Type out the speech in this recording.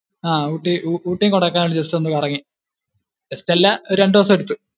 ഹാ ഊട്ടി, ഊട്ടി കൊടൈക്കനാൽ just ഒന്ന് കറങ്ങി, just അല്ല. ഒരു രണ്ടു ദിവസം എടുത്തു